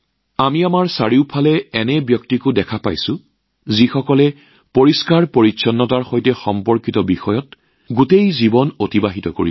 আমি আমাৰ চৌপাশৰ এনে লোককো দেখিবলৈ পাওঁ যিয়ে নিজৰ সমগ্ৰ জীৱন স্বচ্ছতাৰ সৈতে জড়িত বিষয়ত উৎসৰ্গা কৰিছে